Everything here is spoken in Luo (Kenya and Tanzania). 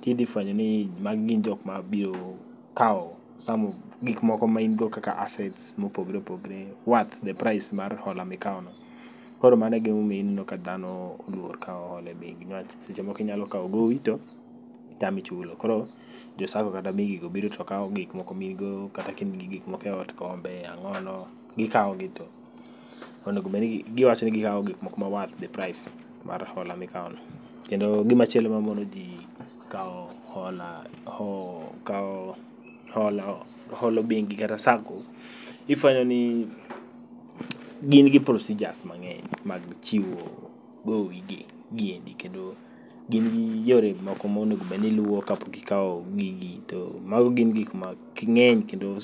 tishi fwenyo ni magi gin jokma biro kawo some of gikmoko main go kaka assets mopogre opogre worth the price mar hola mikawono. Koro mano e gimomiyo ineno ka dhano oluor kawo hola e bengi niwach seche moko inyakawo gowi to tami chulo. Koro jo Sacco kata mi gigo biro to kawo gik moko miin go kata kain gi gik moko eot, kombe, ang'ono, gikawo ginto. Onegobedni giwacho ni gikawo gikmoko ma worth the price mar hola mikawono. Kendo gimachielo mamonoji kawo hola ho kawo holo, holo bengi kata Sacco ifwenyo ni gin gi procedures mang'eny mag chiwo gowi gi giendi kendo gin gi yore moko monegobedni iluwo kapok ikawo gigi to mano gin gikma kgi ng'eny kendo.